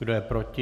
Kdo je proti?